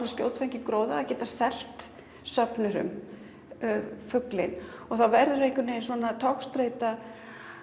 um skjótfengin gróða að geta selt söfnurum fuglinn það verður togstreita